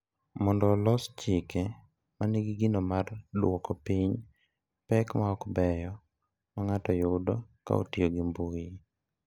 Mondo olos chike ma nigi gino mar dwoko piny pek ma ok beyo ma ng’ato yudo ka otiyo gi mbui.